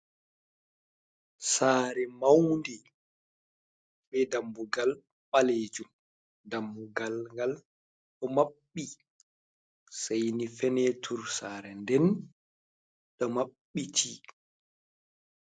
Sare maundi be dambugal ɓalejum dambugal gal ɗo mabbi seini fenetur sare nɗen ɗo maɓɓiti.